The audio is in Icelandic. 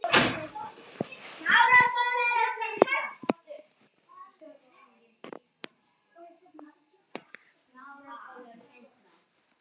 Getur þó ekki stillt sig.